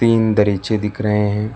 तीन दरीचे दिख रहे हैं।